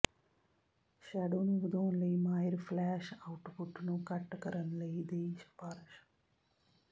shadow ਨੂੰ ਵਧਾਉਣ ਲਈ ਮਾਹਿਰ ਫਲੈਸ਼ ਆਉਟਪੁੱਟ ਨੂੰ ਘੱਟ ਕਰਨ ਲਈ ਦੀ ਸਿਫਾਰਸ਼